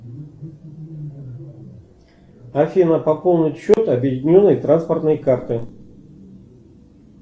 афина пополнить счет объединенной транспортной карты